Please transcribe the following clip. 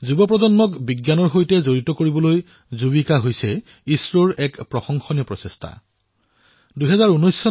যুৱচামক বিজ্ঞানৰ সৈতে জড়িত কৰোৱাৰ বাবে ইছৰৰ যুবিকা কাৰ্যসূচী সঁচাকৈয়ে প্ৰশংসনীয়